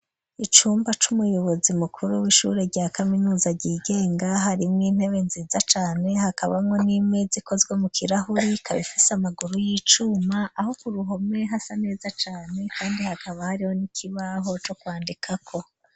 Icumba c'umuyobozi mukuru w'ishure rya kaminuza rigenga, harimwo intebe nziza cane hakabanwo, n'imezi ikozwe mu kirahuri, kaba ifise amaguru y'icuma, aho kuruhome hasa neza cane ,kandi hakaba hariho n'ikibaho co kwandikako.